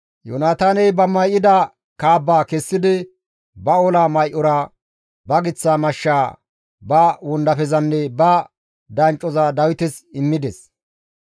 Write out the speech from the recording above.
Yoonataaney ba may7ida kaabbaa kessidi ba ola may7ora, ba giththa mashshaa, ba wondafezanne ba danccoza Dawites immides.